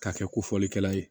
K'a kɛ ko fɔlikɛla ye